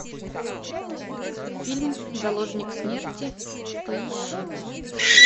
фильм заложник смерти поищи